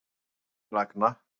Upp til agna.